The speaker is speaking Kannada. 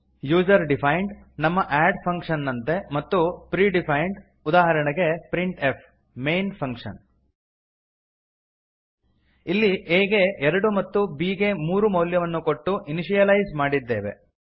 ಯೂಸರ್ ಡಿಫೈನ್ಡ್ ನಮ್ಮ ಅಡ್ ಫಂಕ್ಷನ್ ನಂತೆ ಮತ್ತು ಪ್ರಿಡಿಫೈನ್ಡ್ ಉದಾಹರಣೆಗೆ ಪ್ರಿಂಟ್ಫ್ ಮೈನ್ ಫಂಕ್ಷನ್ ಇಲ್ಲಿ a ಗೆ ಎರಡು ಮತ್ತು b ಗೆ ಮೂರು ಮೌಲ್ಯವನ್ನು ಕೊಟ್ಟು ಇನಿಶಿಯಲೈಸ್ ಮಾಡಿದ್ದೇವೆ